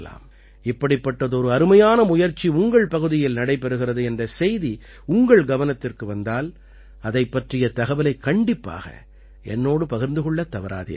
இப்படிப்பட்டதொரு அருமையான முயற்சி உங்கள் பகுதியில் நடைபெறுகிறது என்ற செய்தி உங்கள் கவனத்திற்கு வந்தால் அதைப் பற்றிய தகவலைக் கண்டிப்பாக என்னோடு பகிர்ந்து கொள்ளத் தவறாதீர்கள்